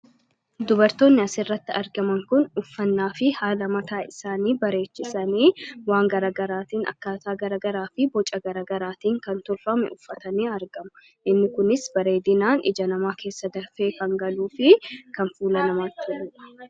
dubartoonni asirratti argaman kun uffannaa fi haalamataa isaanii bareechisanii waan garagaraatiin akkaasaa garagaraa fi boca garagaraatiin kan turrame uffatanii argamu inni kunis bareedinaan ija namaa keessa darfee kangaluu fi kan fuula namaatti eua